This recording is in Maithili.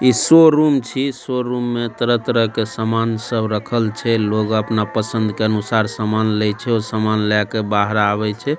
इ शोरूम छै शोरूम में तरह-तरह के समान सब रखल छै लोग अपना पसंद के अनुसार समान लेइ छै और समान लेके बाहर आवेइ छै।